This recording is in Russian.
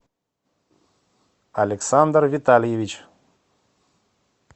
александр витальевич